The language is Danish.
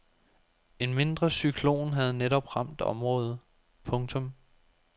En mindre cyklon havde netop ramt området. punktum